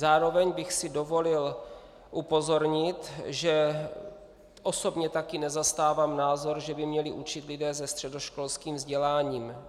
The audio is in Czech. Zároveň bych si dovolil upozornit, že osobně taky nezastávám názor, že by měli učit lidé se středoškolským vzděláním.